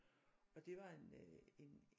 Og det var en øh en